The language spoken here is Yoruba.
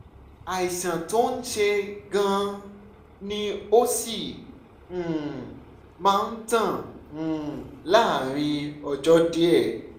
àìsàn tó ń ṣe é gan-an ni ó sì um máa tán um láàárín ọjọ́ díẹ̀